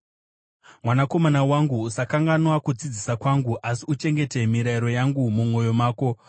Mwanakomana wangu, usakanganwa kudzidzisa kwangu, asi uchengete mirayiro yangu mumwoyo mako,